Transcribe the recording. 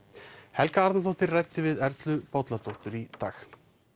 Helga Arnardóttir ræddi við Erlu Bolladóttir í dag